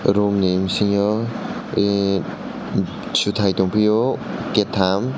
room ni bisingo ehhh setai tong fio keitam.